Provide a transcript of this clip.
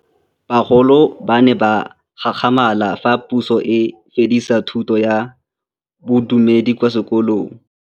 Bagolo ba ne ba gakgamala fa Pusô e fedisa thutô ya Bodumedi kwa dikolong.